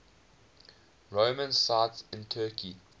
roman sites in turkey